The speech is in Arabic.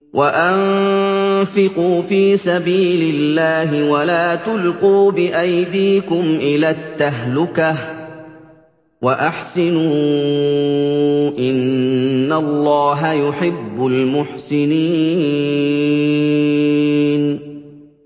وَأَنفِقُوا فِي سَبِيلِ اللَّهِ وَلَا تُلْقُوا بِأَيْدِيكُمْ إِلَى التَّهْلُكَةِ ۛ وَأَحْسِنُوا ۛ إِنَّ اللَّهَ يُحِبُّ الْمُحْسِنِينَ